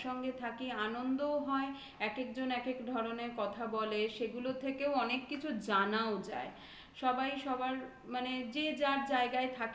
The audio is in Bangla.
থাকি আনন্দও হয় এক একজন একেক ধরনের কথা বলে. সেগুলো থেকেও অনেক কিছু জানাও যায় সবার মানে যে যার জায়গায় থাকে